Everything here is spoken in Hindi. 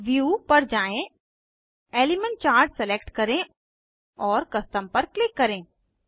व्यू पर जाएँ एलिमेंट चार्ट सलेक्ट करें और कस्टम पर क्लिक करें